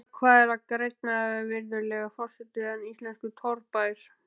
Eða hvað er grænna, virðulegur forseti, en íslenskur torfbær?